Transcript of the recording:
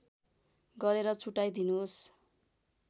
गरेर छुट्टाइ दिनुहोस्